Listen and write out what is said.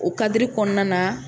O kadiri kɔnɔna na